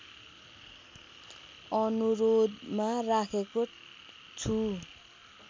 अनुरोधमा राखेको छु